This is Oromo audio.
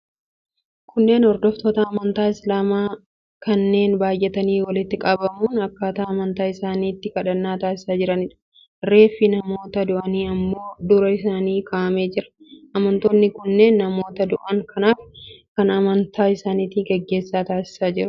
Kunneen hordoftoota amantaa Isilaamaa kanneen baay'atanii walitti qabamuun akkaataa amantaa isaaniitti kadhannaa taasisaa jiraniidha. Reeffi namoota du'anii immoo dura isaanii kaa'amee jira. Amantoonni kunneen namoota du'an kanaaf akka amantaa isaaniitti gaggeessaa taasisaa jiru.